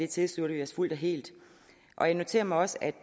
tilslutter vi os fuldt og helt jeg noterer mig også at